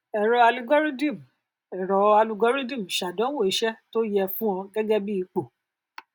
ẹrọ alugọrídìmù ẹrọ alugọrídìmù ṣàdánwò iṣẹ tó yẹ fún ọ gẹgẹ bí ipò